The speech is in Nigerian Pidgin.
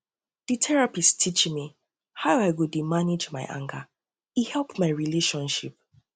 di um therapist um teach teach me um how i go dey manage my anger e help my relationship